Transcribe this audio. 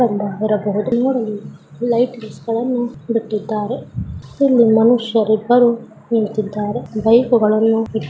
ಇರಬಹುದು ಲೈಟಿಂಗ್ಸ್ ಗಳನ್ನು ಬಿಟ್ಟಿದ್ದಾರೆ. ಇಲ್ಲಿ ಮನುಷ್ಯರಿಬ್ಬರೂ ನಿಂತಿದ್ದಾರೆ ಬೈಕುಗಳನ್ನು--